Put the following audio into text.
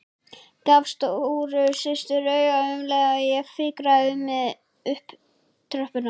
Gaf stóru systur auga um leið og ég fikraði mig upp tröppurnar.